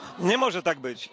Nie może tak być.